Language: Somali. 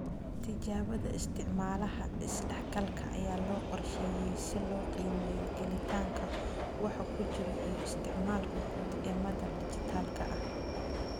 Tijaabada isticmaalaha is dhexgalka ayaa loo qorsheeyay si loo qiimeeyo gelitaanka, waxa ku jira iyo isticmaalka guud ee madal dhijitaalka ah.